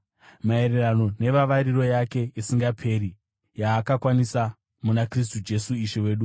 maererano nevavariro yake isingaperi yaakakwanisa muna Kristu Jesu Ishe wedu.